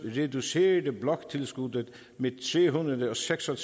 reducerede bloktilskuddet med tre hundrede og seks og